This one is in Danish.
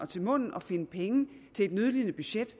til munden at finde penge til et nødlidende budget